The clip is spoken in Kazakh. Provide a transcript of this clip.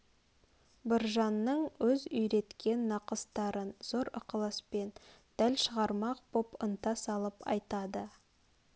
біржанның өз үйреткен нақыстарын зор ықласпен дәл шығармақ боп ынта салып айтады